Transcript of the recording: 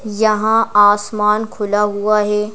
यहां आसमान खुला हुआ है।